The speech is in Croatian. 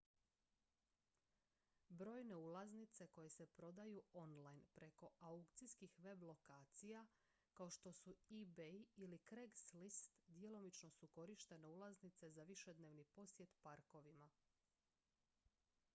brojne ulaznice koje se prodaju online preko aukcijskih web-lokacija kao što su ebay ili craigslist djelomično su korištene ulaznice za višednevni posjet parkovima